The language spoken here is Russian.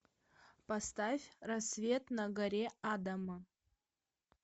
поставь рассвет на горе адама